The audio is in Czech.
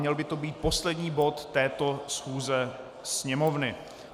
Měl by to být poslední bod této schůze Sněmovny.